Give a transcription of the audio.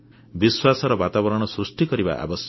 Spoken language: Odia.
ବିଶ୍ୱାସର ବାତାବରଣ ସୃଷ୍ଟି କରିବା ଆବଶ୍ୟକ